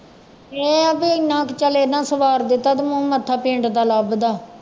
ਇਹ ਆ ਵੀ ਇੰਨਾ ਕੁ ਚੱਲ ਇੰਨਾ ਸਵਾਰ ਦਿੱਤਾ ਤੇ ਮੂੰਹ ਮੱਥਾ ਪਿੰਡ ਦਾ ਲੱਭਦਾ